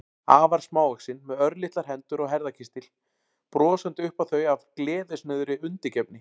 Afar smávaxin, með örlitlar hendur og herðakistil, brosandi upp á þau af gleðisnauðri undirgefni.